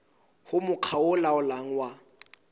ho mokga o laolang wa